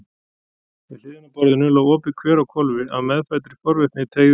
Við hliðina á borðinu lá opið kver á hvolfi, af meðfæddri forvitni teygði